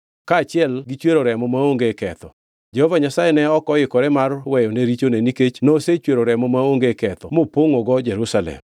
kaachiel gichwero remo maonge ketho. Jehova Nyasaye ne ok oikore mar weyone richone nikech nosechwero remo maonge ketho mopongʼogo Jerusalem.